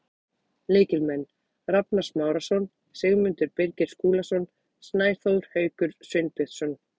Lykilmenn: Rafnar Smárason, Sigmundur Birgir Skúlason, Snæþór Haukur Sveinbjörnsson.